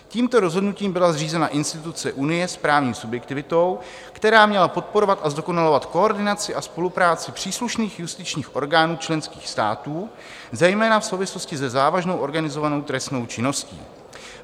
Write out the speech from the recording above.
Tímto rozhodnutím byla zřízena instituce Unie s právní subjektivitou, která měla podporovat a zdokonalovat koordinaci a spolupráci příslušných justičních orgánů členských států, zejména v souvislosti se závažnou organizovanou trestnou činností.